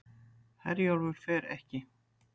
Herjólfur fer ekki